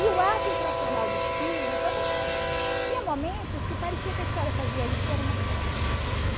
E o ato infracional do filho também era... Tinha momentos que parecia que a história fazia isso e era uma só.